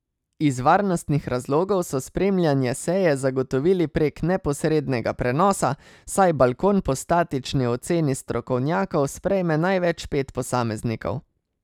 Iz varnostnih razlogov so spremljanje seje zagotovili prek neposrednega prenosa, saj balkon po statični oceni strokovnjakov sprejme največ pet posameznikov.